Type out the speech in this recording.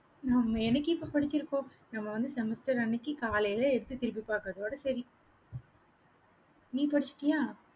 நாம என்னைக்கு இப்ப படிச்சிருக்கோம் நம்ம வந்து semester அன்னைக்கு காலையில எடுத்து திருப்பி பாக்குறதோட சரி நீ படிச்சிட்டியா